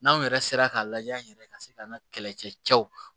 N'anw yɛrɛ sera ka lajɛ an yɛrɛ ka se ka an ka kɛlɛcɛ cɛw